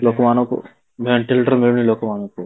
ଲୋକ ମାନଙ୍କୁ ଭେଣ୍ଟିଲେଟର ମିଳୁନି ଲୋକ ମାନଙ୍କୁ